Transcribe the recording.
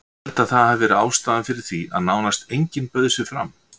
Ég held að það hafi verið ástæðan fyrir því að nánast enginn bauð sig fram.